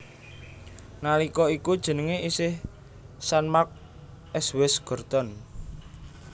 Nalika iku jenenge isih St Mark s West Gorton